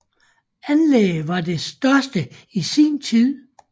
Anlægget var det største i sin tid